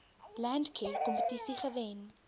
landcare kompetisie gewen